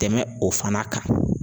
tɛmɛn o fana kan.